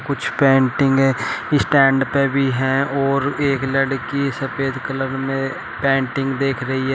कुछ पेंटिंगें स्टैंड पर भी हैं और एक लड़की सफेद कलर में पेंटिंग देख रही है।